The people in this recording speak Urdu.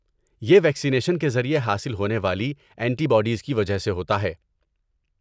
یہ ویکسینیشن کے ذریعے حاصل ہونے والی اینٹی باڈیز کی وجہ سے ہوتا ہے۔